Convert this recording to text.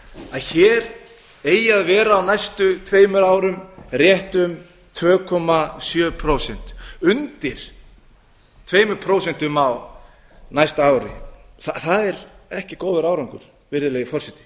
að hér eigi að vera á næstu tveimur árum rétt um tvö komma sjö prósent undir tvö prósent á næsta ári það er ekki góður árangur virðulegi forseti